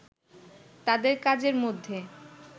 তাদের কাজের মধ্যে